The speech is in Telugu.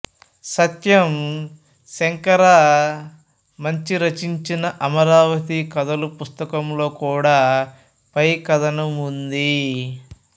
సత్యం శంకరమంచి రచించిన అమరావతి కథలు పుస్తకంలో కూడా పై కథనం ఉంది